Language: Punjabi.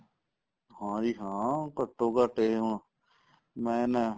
ਹਾਂਜੀ ਹਾਂ ਘੱਟੋ ਘੱਟ ਇਹ ਹੁਣ ਮੈਂ ਨਾ ਅਹ